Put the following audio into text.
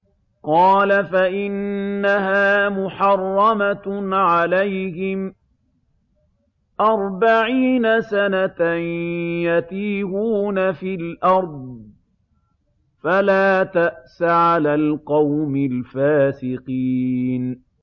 قَالَ فَإِنَّهَا مُحَرَّمَةٌ عَلَيْهِمْ ۛ أَرْبَعِينَ سَنَةً ۛ يَتِيهُونَ فِي الْأَرْضِ ۚ فَلَا تَأْسَ عَلَى الْقَوْمِ الْفَاسِقِينَ